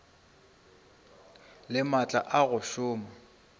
le maatla a go šoma